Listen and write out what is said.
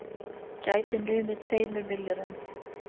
Gæti numið tveimur milljörðum